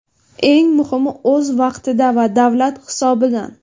Eng muhimi, o‘z vaqtida va davlat hisobidan.